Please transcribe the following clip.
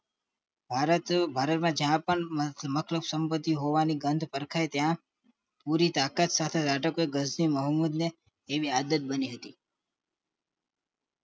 ભારત ભારતમાં જાપાનની અઢળક સંપતિ હોવા ની ગંધ પરખાઈ ત્યાં પૂરી તાકાત સાથે મોહમ્મદ ને તેવી આદત બની હતી